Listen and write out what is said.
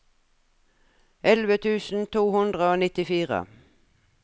elleve tusen to hundre og nittifire